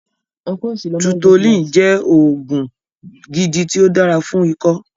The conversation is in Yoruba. Tutolin jẹ́ oògùn gidi ti o dára fún ikó